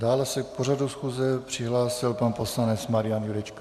Dále se k pořadu schůze přihlásil pan poslanec Marian Jurečka.